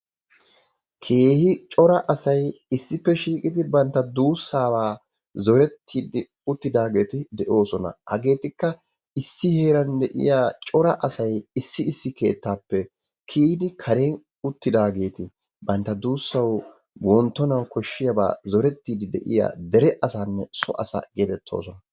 Keehi cora asay issippe shiiqidi bantta duussaba zorettide uttidaageeti de'oosona. Hageetikka issi heeran de'iyaa cora asay issi issi keettappe kiyyidi kare uttidaageeti bantta duussawu wonttonawu zorettiide de'iyaa dere asanne so asa yedetoosona.